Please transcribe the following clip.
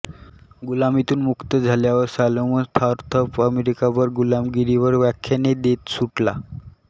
गुलामीतून मुक्त झाल्यावर Solomon Northup अमेरिकाभर गुलामगिरीवर व्याख्याने देत सुटला